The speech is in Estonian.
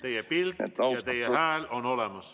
Teie pilt ja teie hääl on olemas.